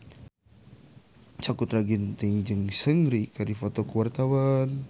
Sakutra Ginting jeung Seungri keur dipoto ku wartawan